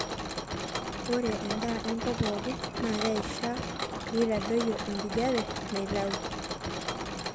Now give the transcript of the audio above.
ore endaa enkop pookin naa keishaa peeitadoyio enkijape naitau